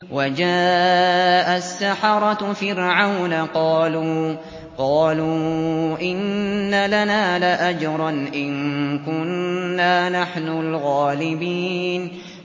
وَجَاءَ السَّحَرَةُ فِرْعَوْنَ قَالُوا إِنَّ لَنَا لَأَجْرًا إِن كُنَّا نَحْنُ الْغَالِبِينَ